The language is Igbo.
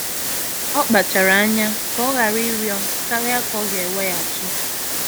Ọ kpachara anya ka ọ ghara ịrịọ karịa ka ọ ga-weghachi